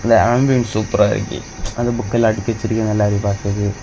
அந்த ஆம்பியன்ஸ் சூப்பரா இருக்கு அந்த புக் எல்லாம் அடுக்கி வச்சிருக்கற நல்லாருக்கு பாக்குறதுக்கு.